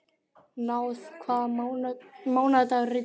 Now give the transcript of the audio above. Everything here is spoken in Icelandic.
Náð, hvaða mánaðardagur er í dag?